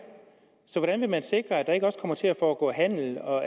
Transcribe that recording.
så hvordan vil man sikre at der ikke også kommer til at foregå handel og